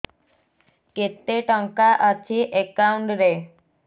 କେତେ ଟଙ୍କା ଅଛି ଏକାଉଣ୍ଟ୍ ରେ